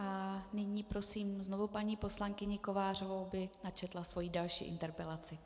A nyní prosím znovu paní poslankyni Kovářovou, aby načetla svoji další interpelaci.